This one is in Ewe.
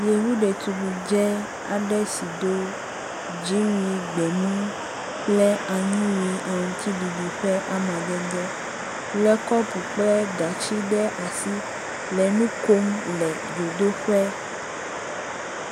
yevu ɖetugbidzɛ si dó dzíwui gbemu kple anyiwui aŋtsiɖiɖi ƒe amadede le kɔpu kple gatsi ɖe asi le nukom le dzodoƒe